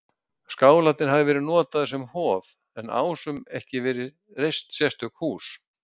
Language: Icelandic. Skálarnir hafi verið notaðir sem hof, en Ásum ekki verið reist sérstök hús.